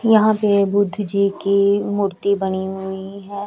यहाँ पे बुद्ध जी की मूर्ति बनी हुई है।